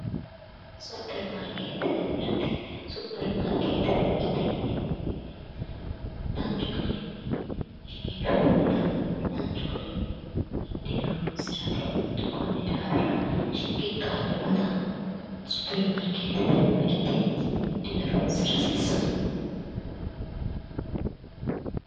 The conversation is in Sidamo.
Superimarikete mirte yineemmo woyte biifinse danchi garinni shiqinshshoonnita danchu garinni hidhine horoonsirate konni daafira superimarikete mirte hidhine horonsira hasiissanno